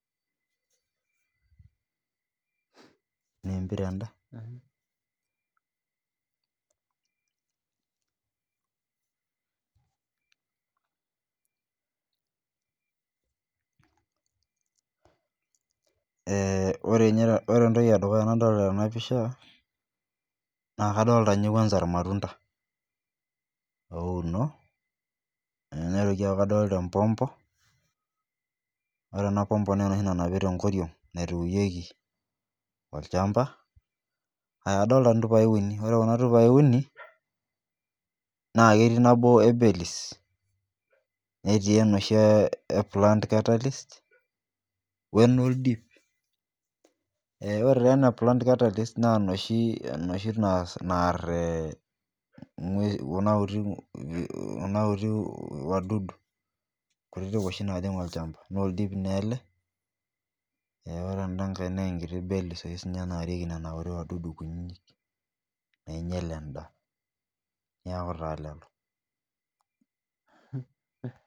Ore entoki edukuya nadolita tena picha naa kadolita ninye kwanza matunda ouno neitoki aaku kadolita empompo ore ena pompo naa enoshi nanapii tenkoriog naitukuyieki shamba adolita ntupai uni ore Kuna tupai uni naa ketii nabo belies netii enoshii ee plant catalyst oldip oree taa ena plant catalyst naa enoshi naar ee Kuna kutiti wadudu kutiti oshi najig olchamba naa oldiip naa ele ore eda ngae naa enkiti bellies oshinarieki oshi wadudu kutiti nainyial endaa neeku taa lelo